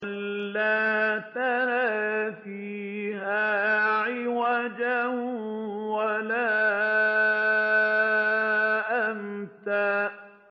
لَّا تَرَىٰ فِيهَا عِوَجًا وَلَا أَمْتًا